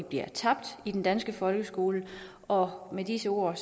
bliver tabt i den danske folkeskole og med disse ord